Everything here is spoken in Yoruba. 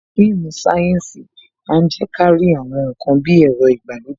Àwọn fíìmù sayensi máa ń je kárí àwọn ǹkan bí ẹ̀rọ ìgbàlódé.